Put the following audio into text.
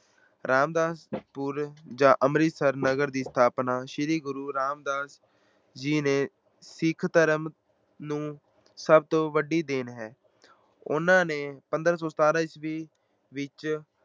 ਰਾਮਦਾਸ ਪੁਰ ਜਾਂ ਅੰਮ੍ਰਿਤਸਰ ਨਗਰ ਦੀ ਸਥਾਪਨਾ ਸ੍ਰੀ ਗੁਰੂ ਰਾਮਦਾਸ ਜੀ ਨੇ ਸਿੱਖ ਧਰਮ ਨੂੰ ਸਭ ਤੋਂ ਵੱਡੀ ਦੇਣ ਹੈ। ਉਹਨਾਂ ਨੇ ਪੰਦਰਾਂ ਸੌ ਸਤਾਰਾਂ ਈਸਵੀ ਵਿੱਚ